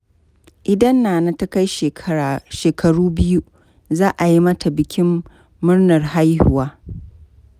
Idan Nana ta kai shekaru biyu, za a yi mata bikin murnar haihuwa.